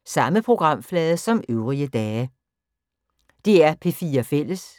DR P4 Fælles